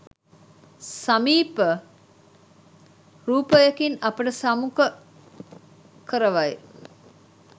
සමීප රූපයකින් අපට සම්මුඛ කරවයි.